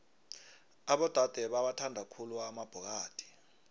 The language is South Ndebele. abodade bawathanda khulu amabhokadi